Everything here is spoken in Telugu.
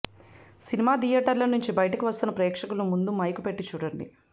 సినిమా థియేటర్ల నుంచి బయటకు వస్తున్న ప్రేక్షకుల ముందు మైకు పెట్టి చూడండి